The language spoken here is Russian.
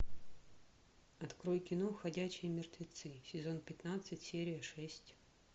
открой кино ходячие мертвецы сезон пятнадцать серия шесть